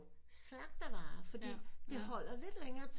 Slagtervarer fordi det holder lidt længere tid